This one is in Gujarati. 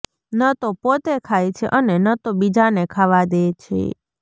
ન તો પોતે ખાય છે અને ન તો બીજાને ખાવા દે છે